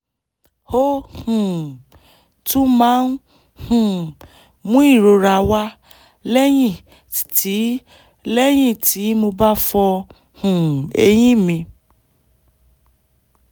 ó um tún máa ń um mú ìrora wá lẹ́yìn tí lẹ́yìn tí mo bá fọ um eyín mi